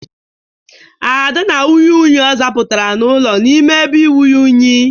Ada na-anwụnye unyi ọ zapụtara n'ụlọ n'ime ebe inwunye unyi.